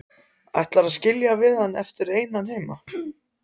Ætlarðu að skilja hann eftir einan heima?